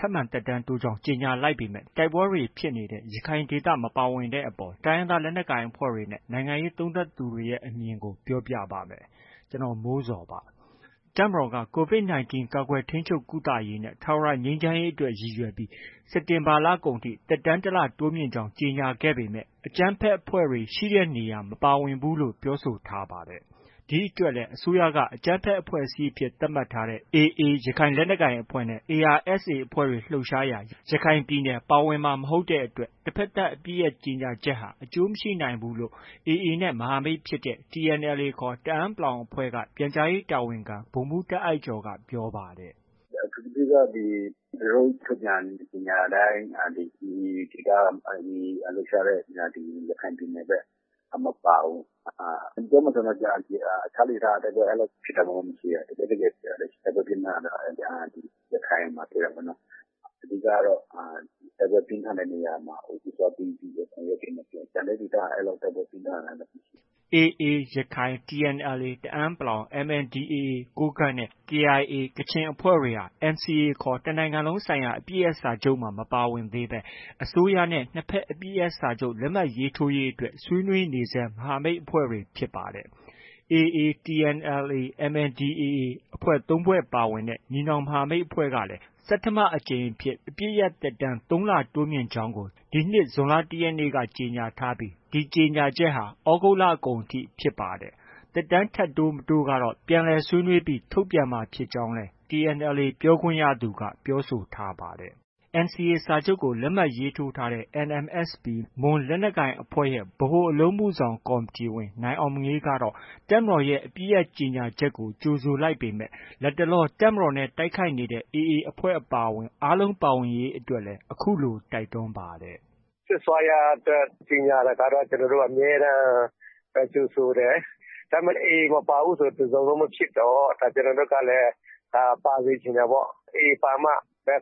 ထပ်မံသက်တမ်းတိုးကြောင်း ကြေညာလိုက်ပေမဲ့ တိုက်ပွဲတွေဖြစ်နေတဲ့ ရခိုင်ဒေသ မပါဝင်တဲ့အပေါ် တိုင်းရင်းသားလက်နက်ကိုင်အဖွဲ့တွေနဲ့ နိုင်ငံရေးသုံးသပ်သူတွေရဲ့ အမြင်တွေကို ပြောပြပါမယ်။ ဗွီအိုအေမြန်မာပိုင်းသတင်းထောက် ကိုမိုးဇော်က သတင်းပေးပို့ထားပါတယ်။ တပ်မတော်က COVID 19 ကာကွယ် ထိန်းချုပ် ကုသရေးနဲ့ ထာဝရ ငြိမ်းချမ်းရေးအတွက် ရည်ရွယ်ပြီး စက်တင်ဘာလကုန်ထိ သက်တမ်း တစ်လ တိုးမြှင့်ကြောင်း ကြေညာခဲ့ပေမဲ့ အကြမ်းဖက်အဖွဲ့တွေ ရှိရာနေရာတွေ မပါဝင်ဘူးလို့ ပြောဆိုထားပါတယ်။ ဒီအတွက်လည်း အစိုးရက အကြမ်းဖက် အဖွဲ့အစည်းတွေအဖြစ် သတ်မှတ်ထားတဲ့ AA ရခိုင်လက်နက်ကိုင်အဖွဲ့နဲ့ ARSA အဖွဲ့တွေလှုပ်ရှားရာ ရခိုင်ပြည်နယ် ပါဝင်မှာ မဟုတ်တဲ့အတွက် တဘက်သတ်အပစ်ရပ် ကြေညာချက်ဟာ အကျိုးမရှိနိုင်ဘူးလို့ AA နဲ့ မဟာမိတ်ဖြစ်တဲ့ TNLA ခေါ် တအန်း အဖဲ့ွက ပြန်ကြားရေး တာဝန်ခံ ဗိုလ်မှုး တာ့အိုက်ကျော်က ပြောပါတယ်။ “အထူးသဖြင့်က သူတို့ ထုတ်ပြန်ကြေညာတိုင်း AA လှုပ်ရှားတဲ့ဒေသ ရခိုင်ပြည်နယ်ဘက်က မပါဘူး။ ပြောမယ်ဆိုရင်တော့ တခြားဒေသက တိုက်ပွဲ အဲလောက် ဖြစ်တာမှ မရှိဘဲ။ တကယ့်တကယ် တိုက်ပွဲပြင်းထန်တာက ရခိုင်မှာ ဖြစ်တာပေါ့နော်။ အဓိကကတော့ တိုက်ပွဲပြင်းထန်တဲ့နေရာမှာ ဦးစားပေးပြီးတော့ ဆောင်ရွက်သင့်တယ်။ ကျန်တဲ့ဒေသက အဲလောက် တိုက်ပွဲပြင်းထန်တာမရှိဘူး။” AA ရခိုင် ၊ TNLA တအန်း ၊ MNDAA ကိုးကန့်နဲ့ KIA ကချင်အဖွဲ့တွေဟာ NCA ခေါ် တစ်နိုင်ငံလုံး ဆိုင်ရာအပစ်ရပ်စာချုပ်မှာ မပါဝင်သေးဘဲ အစိုးရနဲ့ နှစ်ဘက်အပစ်ရပ်စာချုပ် လက်မှတ်ရေးထိုးရေးအတွက် ဆွေးနွေးနေဆဲ မဟာမိတ်အဖွဲ့တွေဖြစ်ပါတယ်။ AA၊ TNLA ၊ MNDAA အဖွဲ့ ၃ဖွဲ့ ပါဝင်တဲ့ ညီနောင်မဟာမိတ်အဖွဲ့ကလည်း ဆဌမအကြိမ် အဖြစ် အပစ်ရပ်သက်တမ်း ၃လ တိုးမြှင့်ကြောင်း ဒီနှစ် ဇွန်လ တစ်ရက်နေ့က ကြေညာထားပြီး ဒီကြေညာချက်ဟာ သြဂုတ်လကုန်အထိဖြစ်ပါတယ်။ သက်တမ်းထပ် တိုး၊ မတိုးကတော့ ပြန်လည်ဆွေးနွေးထုတ်ပြန်မယ်လို့လည်း TNLA ပြောခွင့်ရသူက ပြောဆိုထားပါတယ်။ NCA စာချုပ်ကို လက်မှတ်ရေးထိုးထားတဲ့ NMSP မွန်လက်နက်ကိုင်အဖွဲ့ရဲ့ ဗဟိုအလုပ်အမှုဆောင် ကော်မတီဝင် နိုင်အောင်မငေးကတော့ တပ်မတော်ရဲ့ အပစ်ရပ်ကြေညာချက်ကို ကြိုဆိုလိုက်ပေမဲ့၊ လတ်တလော တပ်မတော်နဲ့ တိုက်ခိုက်နေတဲ့ AA အဖွဲ့အပါအဝင် အားလုံးပါဝင်ရေးအတွက်လည်း အခုလို တိုက်တွန်းပါတယ်။ “Ceasefire အတွက် ကြေညာတာကတော့ ကျနော်တို့က အမြဲတမ်း ကြိုဆိုတယ်။ ဒါ AA မပါဘူးဆို တစ်စုံလုံးမဖြစ်တော့ ဒါ ကျနော်တို့ကလည်း ပါစေချင်တယ်ပေါ့။ AA ပါမှ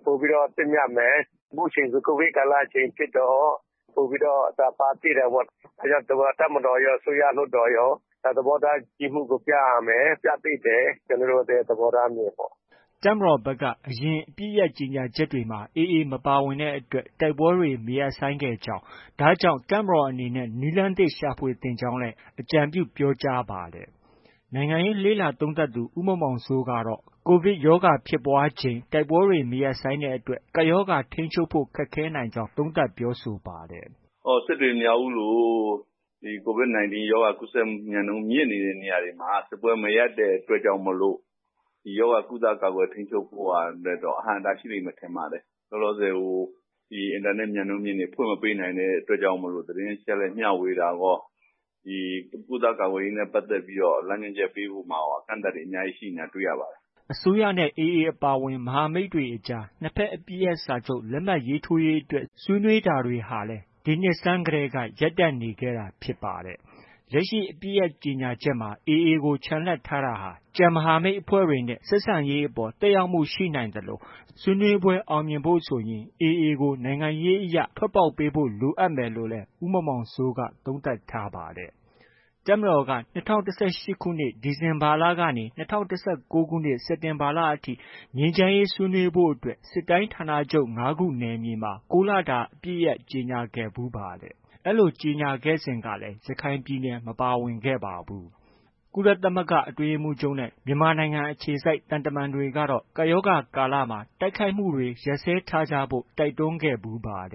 ပိုပြီးတော့ သင့်မြတ်မယ်။ အခုချိန်ဆို COVID ကာလအချိန်ဖြစ်တော့ ပိုပြီးတော့ ပါသင့်တယ်ပေါ့။ ဒါကြောင့် တပ်မတော်ရော၊ အစိုးရ၊ လွှတ်တော်ရော သဘောထား ကြီးမှုကို ပြရမယ်။ ပြသင့်တယ်။ ကျနော်တို့ရဲ့ သဘောထားအမြင်ပေါ့။” တပ်မတော်ဘက်က အရင် အပစ်ရပ်ကြေညာချက်တွေမှာ AA မပါဝင်တဲ့အတွက် တိုက်ပွဲတွေ မရပ်စဲခဲ့ကြောင်း၊ ဒါကြောင့် တပ်မတော်အနေနဲ့ နည်းလမ်းသစ် ရှာဖွေသင့်ကြောင်းလည်း လည်း အကြံပြုပြောကြားပါတယ်။ နိုင်ငံရေးလေ့လာသုံးသပ်သူ ဦးမောင်မောင်စိုးကတော့ COVID ဖြစ်ပွားချိန် တိုက်ပွဲတွေမရပ်ဆိုင်းတဲ့အတွက် ကပ်ရောဂါ ထိန်းချုပ်ဖို့ ခက်ခဲနိုင်ကြောင်း သုံးသပ်ပြောဆိုပါတယ်။ “စစ်တွေ၊ မြောက်ဦးလို COVID 19 ရောဂါကူးစက်မှု မြန်နှုန်းမြင့်နေတဲ့နေရာတွေမှာ စစ်ပွဲ မရပ်တဲ့အတွက်ကြောင့်မို့ ဒီရောဂါ ကုသ ကာကွယ် ထိန်းချုပ်ဖို့တော့ အဟန့်အတားဖြစ်လိမ့်မယ် ထင်ပါတယ်။ လောလောဆယ် အင်တာနက် မြန်နှုန်းမြင့်တွေ ဖွင့်မပေးနိုင်တဲ့အတွက်ကြောင့်မို့ သတင်းအချက်အလက် မျှဝေတာရော ကုသကာကွယ်ရေးနဲ့ပတ်သက်ပြီးတော့ လမ်းညွှန်ချက် ပေးဖို့ရာရော အကန့်အသတ်တွေ အများကြီးရှိနေတာကို တွေ့ရပါတယ်။” အစိုးရ နဲ့ AA အပါအဝင် မဟာမိတ်အဖွဲ့တွေအကြားနှစ်ဘက်အပစ်ရပ်စာချုပ် လက်မှတ်ရေးထိုးရေးအတွက် ဆွေးနွေးတာတွေဟာလည်း ဒီနှစ်ဆန်းတည်းက ရပ်တန့်နေတာဖြစ်ပါတယ်။ လက်ရှိ အပစ်ရပ်ကြေညာချက်မှာ AA ကို ချန်လှပ်ထားတာဟာ ကျန်မဟာမိတ်အဖွဲ့တွေနဲ့ ဆက်ဆံရေးအပေါ် သက်ရောက်မှုရှိနိုင်သလို ဆွေးနွေးပွဲတွေ အောင်မြင်ဖို့ဆိုရင် AA ကို နိုင်ငံရေးအရ ထွက်ပေါက် ပေးဖို့ လိုအပ်မယ်လို့လည်း ဦးမောင်မောင်စိုးက သုံးသပ်ထားပါတယ်။ တပ်မတော်က ၂၀၁၈ ခု ဒီဇင်ဘာလကနေ ၂၀၁၉ ခု စက်တင်ဘာလအထိ ငြိမ်းချမ်းရေးဆွေးနွေးဖို့အတွက် စစ်တိုင်းဌာနချုပ် ၅ ခု နယ်မြေမှာ ၉ လတာ အပစ်ရပ်ကြေညာခဲ့ဖူးပါတယ်။ ဒီလို ကြေညာခဲ့စဉ်ကလည်း ရခိုင်ပြည်နယ် မပါဝင်ခဲ့ပါဘူး။ ကုလသမဂ္ဂ အတွင်းရေးမှူးချုပ်နဲ့ မြန်မာနိုင်ငံ အခြေစိုက် သံတမန်တွေကတော့ ကပ်ရောဂါကာလမှာ တိုက်ခိုက်မှုတွေ ရပ်စဲထားကြဖို့ တိုက်တွန်းခဲ့ဖူးပါတ